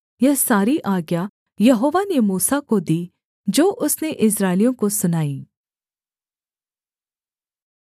यह सारी आज्ञा यहोवा ने मूसा को दी जो उसने इस्राएलियों को सुनाई